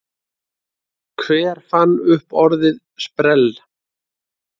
Hver fann upp orðið sprell?